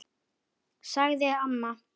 sagði amma.